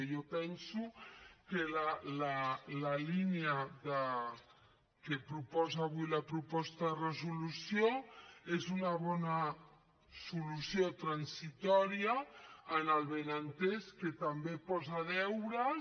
i jo penso que la línia que proposa avui la proposta de resolució és una bona solució transitòria amb el benentès que també posa deures